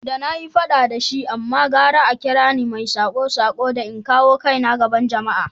Da na yi fada da shi amma gara a kira ni mai sako-sako da in kawo kaina a gaban jama’a.